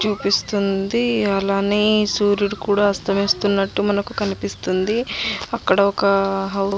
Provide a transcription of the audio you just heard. చూపిస్తుంది అలానే సూర్యుడు కూడా అస్తమిస్తున్నట్టు మనకు కనిపిస్తుంది అక్కడ ఒక హౌ --